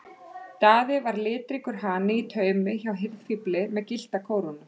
Daði var litríkur hani í taumi hjá hirðfífli með gyllta kórónu.